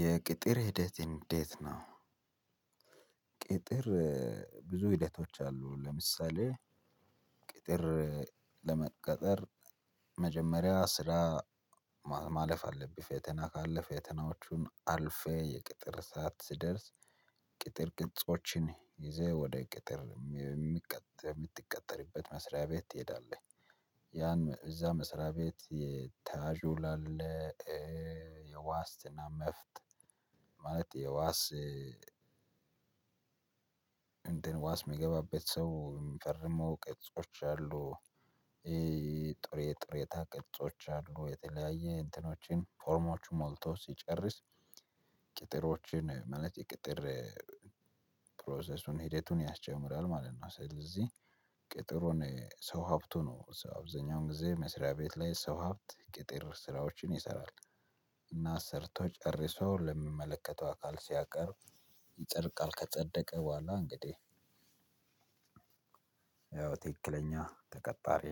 የቅጥር ሂደት እንዴት ነው? ቅጥር ብዙ ሂደቶች አሉ። ለምሳሌ ቅጥር ለመቀጠር መጀመሪያ ስራ ማለፍ አለብህ። ፌተና ካለፈ ፌተናዎቹን አልፌ የቅጥር እሳት ስደርስ ቅጥር ቅጾችን ይዘህ ወደ ቅጥር የምትቀጥርበት መስሪያ ቤት ትሄዳለህ። ያን እዛ መስሪያ ቤት የተሃጁ ላለ የዋስትና መፍት ማለት የዋስ እንደ ዋስ የሚገባበት ሰው የሚፈርመው ቅጾች አሉ። ጥሬ ጥሬታ ቅጾች አሉ። የተለያየ እንትኖችን ፎርሞቹ ሞልተው ሲጨርስ ቅጥሮችን ማለት የቅጥር ሂደቱን ያስጀምራል ማለት ነው። ስለዚህ ቅጥሩን ሰው ሀብቱ ነው። አብዛኛውን ጊዜ መስሪያ ቤት ላይ ሰው ሀብት ቅጥር ስራዎችን ይሰራል። እና ሰርቶ ጨርሶ ለምመለከተው አካል ሲያቀርብ ይጸድቃል። ከጸደቀ በኋላ እንግዲህ። ትክክለኛ ተቀጣሪ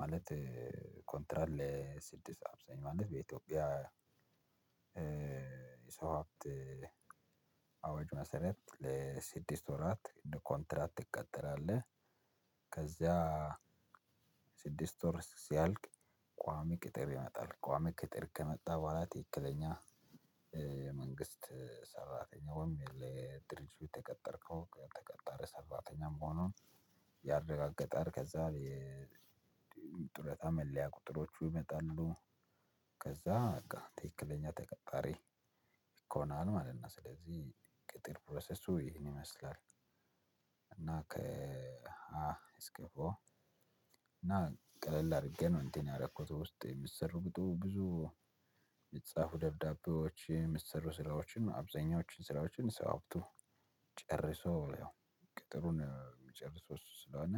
ማለት ኮንትራል ለስድስት አብዛኝ ማለት በኢትዮጵያ የሰው ሀብት አዋጅ መሰረት ለስድስት ወራት ኮንትራት ትቀጠራለህ። ከዛ ስድስት ወር ሲያልቅ ቋሚ ቅጥር ይመጣል። ቋሚ ቅጥር ከመጣ በኋላ ትክክለኛ መንግስት ሰራተኛውም የሌለ ድርጅቱ የተቀጠርከው የተቀጠረ ሰራተኛም መሆኑን ያረጋገጠል ከዛ የጡረታ መለያ ቁጥሮቹ ይመጣሉ። ከዛ በቃ ትክክለኛ ተቀጣሪ ይኮናል ማለት ነው። ስለዚህ ቅጥር ፕሮሰሱ ይህን ይመስላል። እና እስኪ እና ቀለል አድርጌ ነው እንዴ ያረኩት። ውስጥ የሚሰሩ ብዙ የምጻፉ ደብዳቤዎች የሚሰሩ ስራዎችን አብዛኛዎችን ስራዎችን ሰው አብቶ ጨርሶ ያው ቅጥሩን የሚጨርሱ እሱ ስለሆነ